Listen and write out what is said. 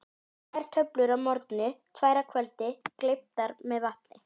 Tvær töflur að morgni, tvær að kvöldi, gleyptar með vatni.